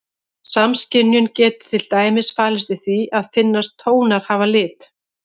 Samskynjun getur til dæmis falist í því að finnast tónar hafa lit.